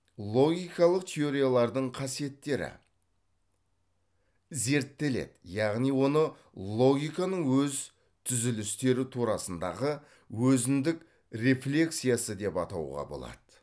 логикалық теориялардың қасиеттері зерттеледі яғни оны логиканың өз түзілістері турасындағы өзіндік рефлексиясы деп атауға болады